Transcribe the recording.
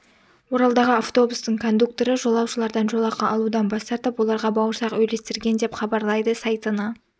оралдағы автобустың кондукторы жолаушылардан жолақы алудан бас тартып оларға бауырсақ үйлестірген деп хабарлайды сайтына